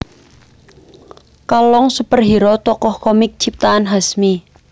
Kalong superhero tokoh komik ciptaan Hasmi